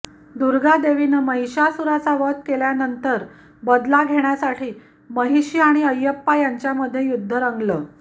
दुर्गा देवीने महिशासुराचा वध केल्यानंतर बदला घेण्यासाठी महिशी आणि अयप्पा यांच्यामध्ये युद्ध रंगलं